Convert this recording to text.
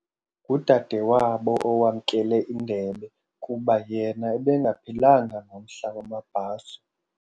Ngudadewabo owamkele indebe kuba yena ebengaphilanga ngomhla wamabhaso.